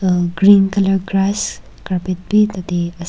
Hmm green colour grass carpet bhi tatey ase.